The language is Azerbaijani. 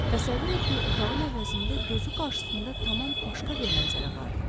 Təsəvvür etdiyi otağın əvəzində gözü qarşısında tamam başqa bir mənzərə vardı.